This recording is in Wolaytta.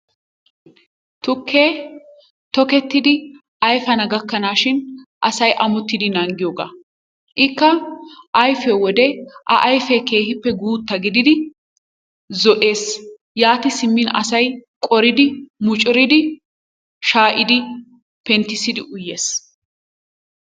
Tukke tokettidi ayifana gakkanaashin asay amotidi nanggiyogaa. Ikka ayifiyo wode a ayifee keehippe guutta gididi zo'ees. Yaati simmin asay qoridi mucuridi shaayidi penttissidi uyees.